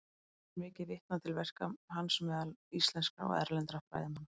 Enn er mikið vitnað til verka hans meðal íslenskra og erlendra fræðimanna.